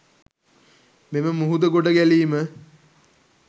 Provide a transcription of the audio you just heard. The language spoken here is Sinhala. මෙම මුහුද ගොඩ ගැලීම